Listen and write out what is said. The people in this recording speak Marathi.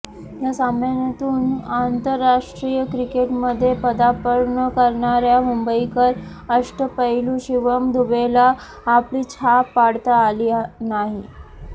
या सामन्यातून आंतरराष्ट्रीय क्रिकेटमध्ये पदार्पण करणार्या मुंबईकर अष्टपैलू शिवम दुबेला आपली छाप पाडता आली नाही